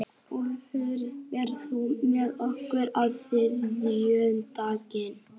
Úlftýr, ferð þú með okkur á þriðjudaginn?